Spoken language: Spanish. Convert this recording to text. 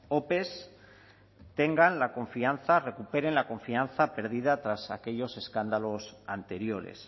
ope tengan la confianza recuperen la confianza perdida tras aquellos escándalos anteriores